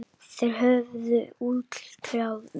Þeir höfðu útkljáð málið.